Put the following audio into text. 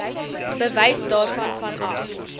bewys daarvan vanaf